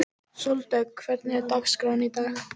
Sóldögg, hvernig er dagskráin í dag?